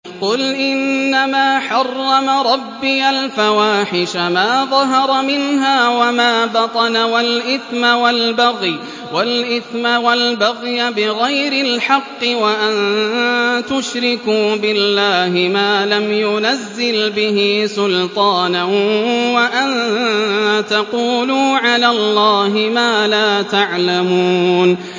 قُلْ إِنَّمَا حَرَّمَ رَبِّيَ الْفَوَاحِشَ مَا ظَهَرَ مِنْهَا وَمَا بَطَنَ وَالْإِثْمَ وَالْبَغْيَ بِغَيْرِ الْحَقِّ وَأَن تُشْرِكُوا بِاللَّهِ مَا لَمْ يُنَزِّلْ بِهِ سُلْطَانًا وَأَن تَقُولُوا عَلَى اللَّهِ مَا لَا تَعْلَمُونَ